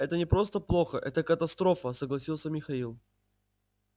это не просто плохо это катастрофа согласился михаил